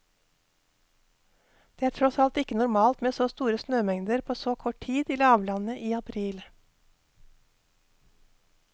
Det er tross alt ikke normalt med så store snømengder på så kort tid i lavlandet i april.